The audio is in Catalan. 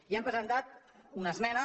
hi hem presentat una esmena